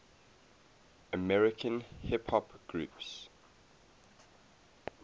american hip hop groups